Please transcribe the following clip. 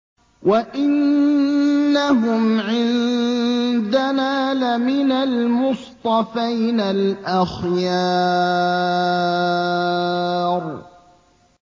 وَإِنَّهُمْ عِندَنَا لَمِنَ الْمُصْطَفَيْنَ الْأَخْيَارِ